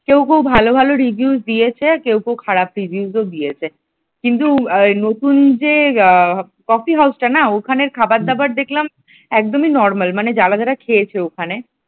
কেউ কেউ ভালো ভালো review দিয়েছে আর কেউ কেউ খারাপ reviews দিয়েছে কিন্তু নতুন যে কফি হাউসটা না ওখানের খাবার দাবার দেখলাম একদমই normal মানে যারা যারা খেয়েছে ওখানে।